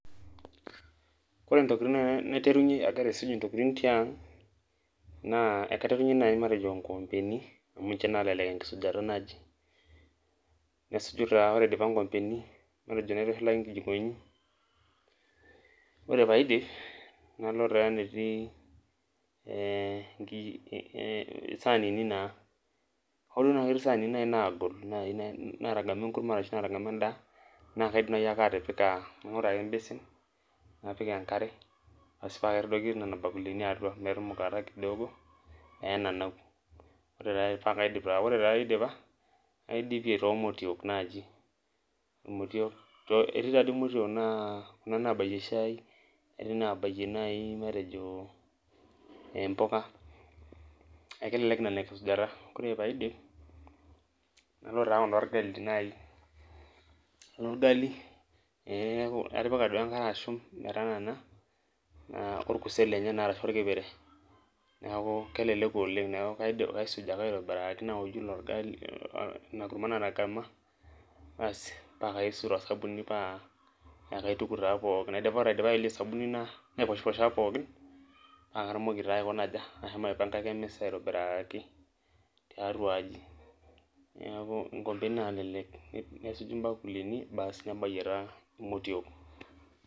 Ore ntokitin naiterunye naaji agira aisum ntokitin tiang',naa ekaiterunye naaji matejo nkoompeni, Amu ninche naalelek enkisujata naaji, nesuju taa ore aidipa nkikompeni, matejo naitushulaki nkijikoni, ore pee aidipa nalo taa emetii ee saanini naa, hoo duo naa ketii saanini naagol, naai naatagama enkurma ashu naatagama edaa, naa kaidim naaji ake atipika,e basin, napik enkare, ASI paa kaitadoiki Nena bakulini atua, metumukata kidogo pee enanau. paa kaidip taa, ore taa aidipa, naidipie, too motiok naaji, amu motiok. etii taadi motiook naabayie shai, etii naabayie naaji matejo empuka, neeku kelelek Nena enkisujata. ore pee aidipa, nalo taa Kuna orgali naaji. ineorgali ee atipika duo enkare ashum metanana orkurtet lenyenak, orkipire, neeku kelelek. neeku kaisuj ake aitobiraki naouju Ina orgali, Ina kurma naatagama, aasi paa kaisuj to sabuni paa kaituku taa pookin. ore aidipa ayelie osabuni naiposhiposh aa pookin, paa katumoki taa ashomo aikuna aja, ashomo aipangaki emisa aitobiraaaki, tiatua aji. neeku nkoompeni naalelek nesuju bakulini basi nebayie taa motiook.